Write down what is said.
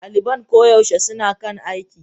Daliban koyaushe suna kan aiki.